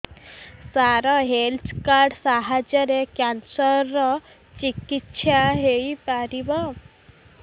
ସାର health card ସାହାଯ୍ୟରେ cancer ର ଚିକିତ୍ସା ହେଇପାରିବ